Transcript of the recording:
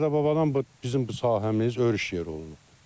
Dədə-babadan bu bizim bu sahəmiz örüş yeri olub.